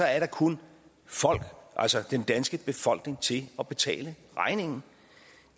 er der kun folk altså den danske befolkning til at betale regningen